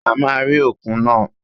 A máa rí òkun náà